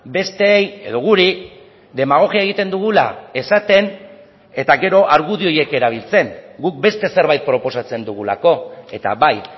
besteei edo guri demagogia egiten dugula esaten eta gero argudio horiek erabiltzen guk beste zerbait proposatzen dugulako eta bai